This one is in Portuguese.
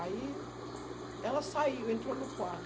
Aí ela saiu, entrou no quarto.